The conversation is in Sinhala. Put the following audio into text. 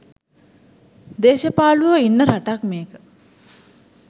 දේශපාලුවෝ ඉන්න රටක් මේක